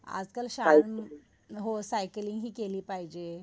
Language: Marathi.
आज काल हो सायकलिंग हि केली पाहिजे.